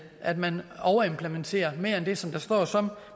at man overimplementerer mere end det som der står som